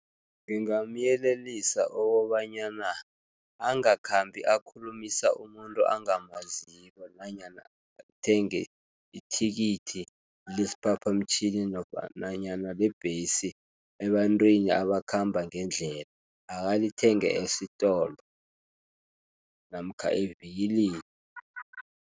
Ngingamyelelisa okobanyana angakhambi akhulumisa umuntu angamaziko, nanyana athenge ithikithi lesiphaphamtjhini, nofana nanyana lebhesi ebantwini abakhamba ngendlela, akalithenge esitolo namkha evikilini.